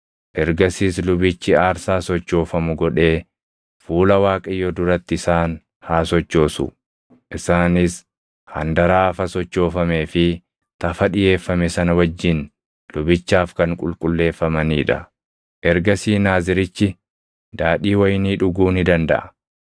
Ergasiis lubichi aarsaa sochoofamu godhee fuula Waaqayyoo duratti isaan haa sochoosu; isaanis handaraafa sochoofamee fi tafa dhiʼeeffame sana wajjin lubichaaf kan qulqulleeffamanii dha. Ergasii Naazirichi daadhii wayinii dhuguu ni dandaʼa.